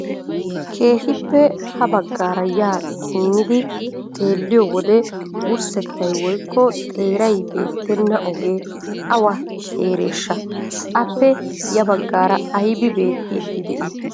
Keehippe ha baggaara yaa simmidi xeelliyo wode wurssettay woykko xeeray beettenna ogee awa heereeshsha? Appe ya baggaara aybi beettiiddi de'ii?